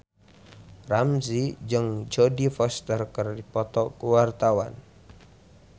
Ramzy jeung Jodie Foster keur dipoto ku wartawan